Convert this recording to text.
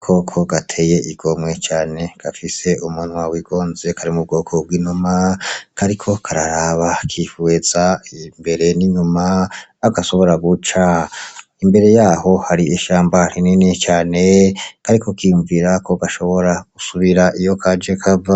Aga koko gateye igomwe cane gafise umunwa w'igonze kari mu bwoko bw'inuma kariko kararaba kihweza imbere n'inyuma aho gashobora guca, Imbere yaho hari ishamba rinini cane kariko kiyumvira ko gashobora gusubira iyo kaje kava.